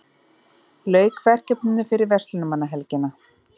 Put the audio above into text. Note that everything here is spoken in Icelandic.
Lauk verkefninu fyrir verslunarmannahelgina